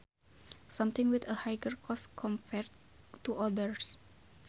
Something with a higher cost compared to others